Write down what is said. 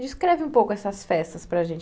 Descreve um pouco essas festas para a gente.